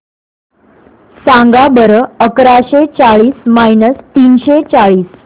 सांगा बरं अकराशे चाळीस मायनस तीनशे चाळीस